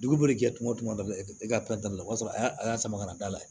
Dugu bɛ kɛ tuma o tuma e ka o y'a sɔrɔ a y'a a y'a sama ka na d'a la